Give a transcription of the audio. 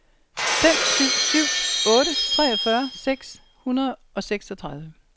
fem syv syv otte treogfyrre seks hundrede og seksogtredive